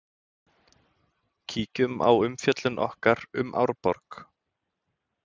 Kíkjum á umfjöllun okkar um Árborg.